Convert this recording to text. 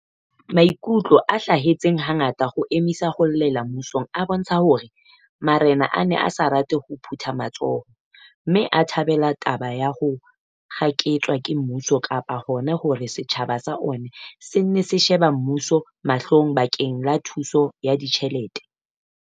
Maikutlo a hlahelletseng hangata a ho emisa ho llela mmusong a bontsha hore ma rena a ne a sa rate ho phutha matsoho mme a thabele taba ya ho kgaketswa ke mmuso kapa hona hore setjhaba sa ona se nne se shebe mmuso mahlong bakeng la thuso ya ditjhelete.